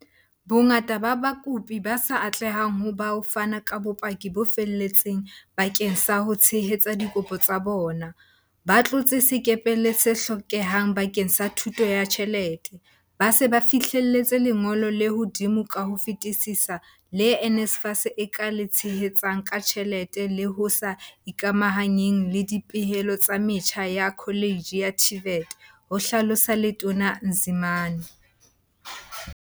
"Bongata ba bakopi ba sa atlehang ha bo a fana ka bopaki bo felletseng bakeng sa ho tshehetsa dikopo tsa bona, ba tlotse sekepele se hlokehang bakeng sa thuso ya tjhelete, ba se ba fihlelletse lengolo le hodimo ka ho fetisisa le NSFAS e ka le tshehetsang ka tjhelete le ho se ikamahanye le dipehelo tsa metjha ya koletjhe ya TVET," ho hlalosa Letona Nzimande.